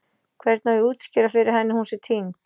Hvernig á ég að útskýra fyrir henni að hún sé týnd?